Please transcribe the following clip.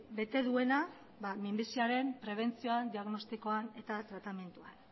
bete duena minbiziaren prebentzioan diagnostikoan eta tratamenduan